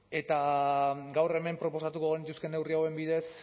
eta gaur hemen proposatuko genituzkeen neurri hauen bidez